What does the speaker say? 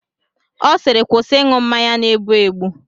Ọ siiri kwụsị ịṅụ mmanya na-egbu egbu!